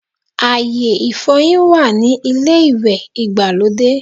Ayé ìfọyín wà ní ilé ìwẹ̀ ìgbàlódé